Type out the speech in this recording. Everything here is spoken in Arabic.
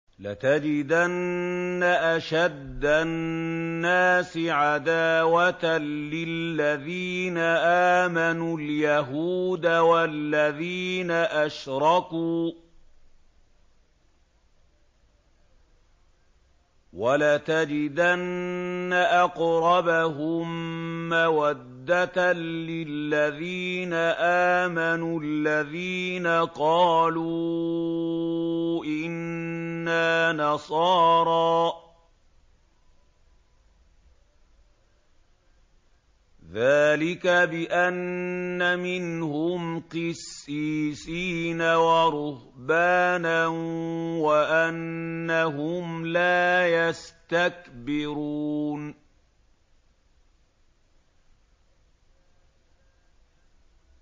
۞ لَتَجِدَنَّ أَشَدَّ النَّاسِ عَدَاوَةً لِّلَّذِينَ آمَنُوا الْيَهُودَ وَالَّذِينَ أَشْرَكُوا ۖ وَلَتَجِدَنَّ أَقْرَبَهُم مَّوَدَّةً لِّلَّذِينَ آمَنُوا الَّذِينَ قَالُوا إِنَّا نَصَارَىٰ ۚ ذَٰلِكَ بِأَنَّ مِنْهُمْ قِسِّيسِينَ وَرُهْبَانًا وَأَنَّهُمْ لَا يَسْتَكْبِرُونَ